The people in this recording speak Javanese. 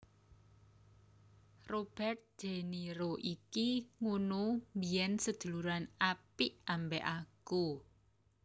Robert de Niro iki ngunu biyen seduluran apik ambek aku